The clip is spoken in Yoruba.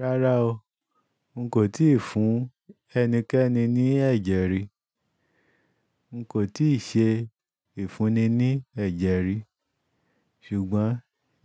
Rárá o, n kò tíì fún ẹnikẹ́ni ní ẹ̀jẹ̀ rí. N kòi tíì ṣe ìfúnni ní ẹ̀jẹ̀ rí. Ṣùgbọ́n